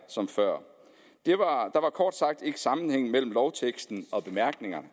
som før der var kort sagt ikke sammenhæng mellem lovteksten og bemærkningerne